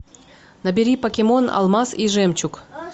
набери покемон алмаз и жемчуг